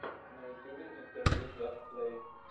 на ютубе интервью джаст плэй